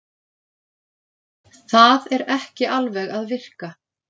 Það er ekki alveg að virka